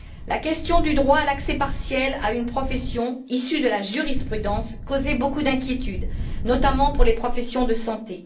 La question du droit à l'accès partiel à une profession, issu de la jurisprudence, causait beaucoup d'inquiétudes, notamment pour les professions de santé.